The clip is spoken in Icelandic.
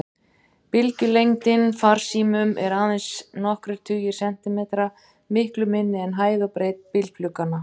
Bylgjulengdin farsímum er aðeins nokkrir tugir sentimetra, miklu minni en hæð og breidd bílglugganna.